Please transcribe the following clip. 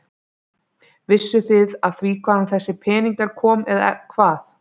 Vissuð þið af því hvaðan þessi peningur kom eða hvað?